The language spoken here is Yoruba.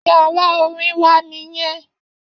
Yàrá orin wa nìyẹn.